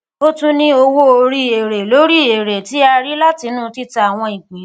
o tún ní owó orí èrè lórí èrè tí a rí látinú tìta àwọn ìpín